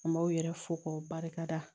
M'aw yɛrɛ fo k'o barikada